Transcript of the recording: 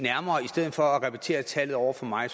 stedet for at repetere tallet over for mig